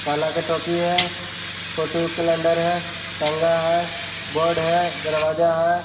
काला का टोपी है फोटो ऊ कैलेंडर है टंगा है बोर्ड है दरवाज़ा है ।